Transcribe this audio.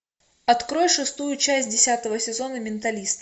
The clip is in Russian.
открой шестую часть десятого сезона менталист